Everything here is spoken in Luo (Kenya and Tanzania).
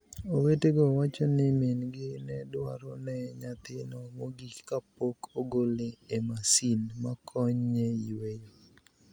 Owetego wacho nii mini-gi ni e dwaro ni eno niyathino mogik kapok ogole e masini makoniye yweyo.